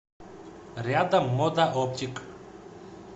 рядом мода оптик